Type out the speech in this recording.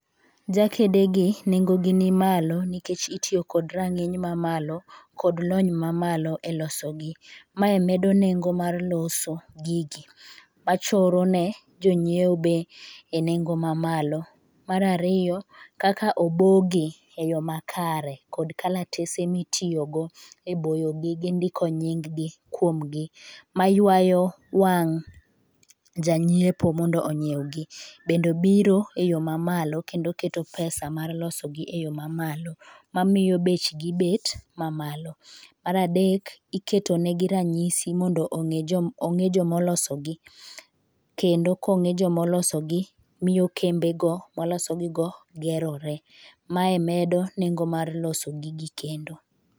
Jakedegi nengo gi ni malo nikech itiyo kod rang'iny mamalo kod lony mamalo e loso gi, mae medo nengo mar loso gigi , achoro ne jonyiewo bei nengo mamalo. Mar ariyo, kaka obogi e yoo makare kod kalatese mitiyo go e boyo gi gi ndiko nying gi kuom gi maywayo wang' janyiepo mondo onyiew gi, bende biro e yo mamalo kendo keto pesa mar loso gi e yoo mamalo mamiyo bech gi bet mamalo . Mar adek, iketo ne gi ranyisi mondo ong'e jom ong'e jomolosogi kendo kong'e jomoloso gi miyo kembe go molosogi go gerore . Mae medo nengo mar loso gigi kendo.